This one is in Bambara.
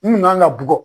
N kun kan ka bugɔ